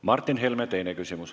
Martin Helme, teine küsimus.